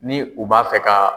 Ni u b'a fɛ ka